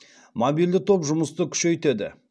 мобильді топ жұмысты күшейтеді